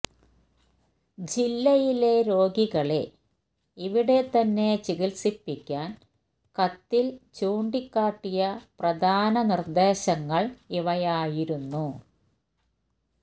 ജില്ലയിലെ രോഗികളെ ഇവിടെ തന്നെ ചികിത്സിപ്പിക്കാന് കത്തില് ചൂണ്ടിക്കാട്ടിയ പ്രധാന നിര്ദ്ദേശങ്ങള് ഇവയായിരുന്നു